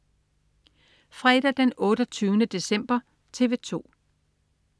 Fredag den 28. december - TV 2: